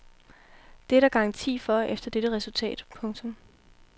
Det er der garanti for efter dette resultat. punktum